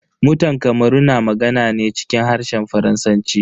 Mutan kamaru na magana ne cikin harshen Faransanci.